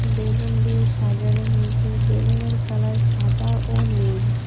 Balloon দিয়ে সাজানো হয়েছে বেলুনের কালার সাদা ও নীল।